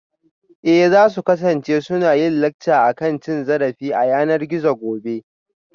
Eh za su kasance suna yin lacca akan cin zarafi ta yanar gizo gobe